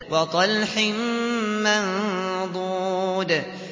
وَطَلْحٍ مَّنضُودٍ